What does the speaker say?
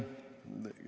Palun!